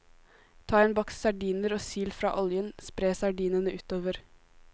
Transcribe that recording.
Ta en boks sardiner og sil fra oljen, spre sardinene utover.